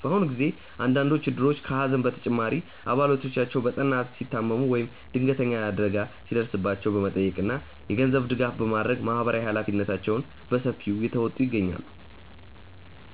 በአሁኑ ጊዜ አንዳንዶቹ እድሮች ከሐዘን በተጨማሪ አባላቶቻቸው በጠና ሲታመሙ ወይም ድንገተኛ አደጋ ሲደርስባቸው በመጠየቅ እና የገንዘብ ድጋፍ በማድረግ ማህበራዊ ኃላፊነታቸውን በሰፊው እየተወጡ ይገኛሉ።